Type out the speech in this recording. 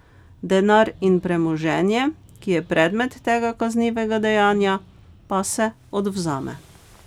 Denar in premoženje, ki je predmet tega kaznivega dejanja, pa se odvzame.